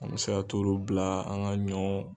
An bɛ se ka t'olu bila an ka ɲɔ.